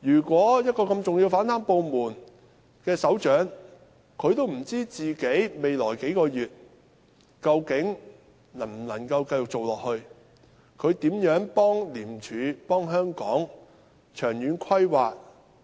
如果連這麼重要的反貪部門的首長也不知道自己未來數月究竟能否繼續出任這職位，他如何協助廉政專員長遠規劃